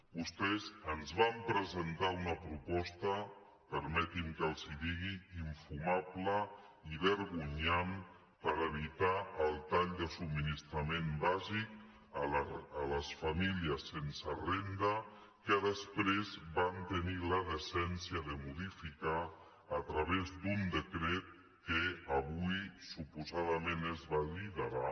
vostès ens van presentar una proposta permetin me que els ho digui infumable i vergonyant per evitar el tall de subministrament bàsic a les famílies sense renda que després van tenir la decència de modificar a través d’un decret que avui suposadament es validarà